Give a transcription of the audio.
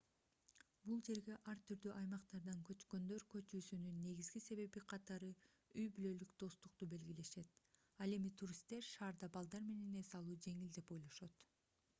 бул жерге ар түрдүү аймактардан көчкөндөр көчүүсүнүн негизги себеби катары үй-бүлөлүк достукту белгилешет ал эми туристтер шаарда балдар менен эс алуу жеңил деп ойлошот